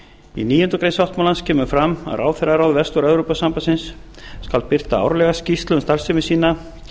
í níundu grein sáttmálans kemur fram að ráðherraráð vestur evrópusambandsins skal birta árlega skýrslu um starfsemi sína